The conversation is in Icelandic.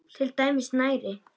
Til dæmis snæri.